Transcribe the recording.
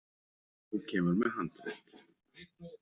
Þú kemur með handrit.